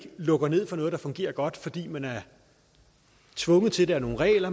lukker ned for noget der fungerer godt fordi man er tvunget til det af nogle regler